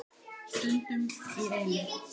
Stundum í einu.